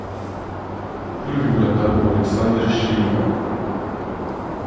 Prvi vratar bo Aleksander Šeliga.